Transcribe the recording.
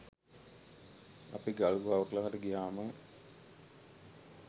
අපි ගල් ගුහාවක් ළඟට ගියහම